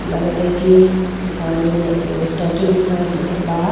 लगता हई कि सामने में एगो स्टैच्चू भी खड़ा दिखत बा।